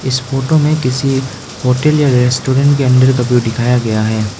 इस फोटो में किसी होटल या रेस्टोरेंट के अंदर का व्यू दिखाया गया है।